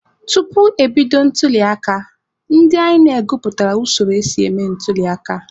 Tupu ebido ntuliaka, ndị INEC gụpụtara usoro esi eme ntuliaka.